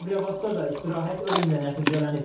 Sabirabadda da istirahət ölümlə nəticələnib.